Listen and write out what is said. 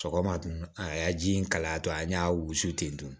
Sɔgɔma dun a ya ji in kalaya tɔ an y'a wusu ten tɔn